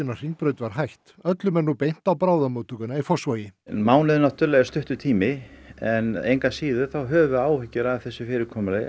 á Hringbraut var hætt öllum er nú beint á bráðamóttökuna í Fossvogi mánuður náttúrlega er stuttur tími en engu að síður þá höfum við áhyggjur af þessu fyrirkomulagi